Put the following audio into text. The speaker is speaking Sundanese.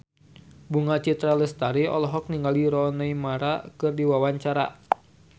Bunga Citra Lestari olohok ningali Rooney Mara keur diwawancara